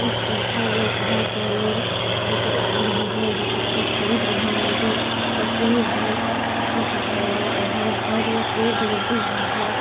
लिखा हुआ है सुधा पार्लर और सारे आदमी है जो कुछ खरीद रहे है लेकिन यहाँ से।